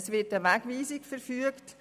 Es wird eine Wegweisung verfügt.